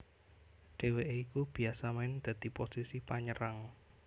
Dhèwêké iku biasa main dadi posisi panyerang